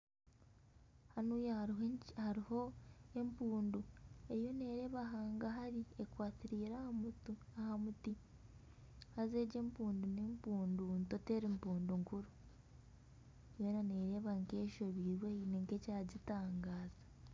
Hanuuya hariho empundu eriyo nereeba hangahari ekwatiraire aha muti haaza egi empundu, n'empundu nto teri mpundu nkuru yoona neereeba nka eshobirwe haine ekyagitangaaza.